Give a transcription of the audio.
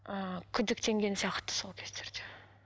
ыыы күдіктенген сияқты сол кездерде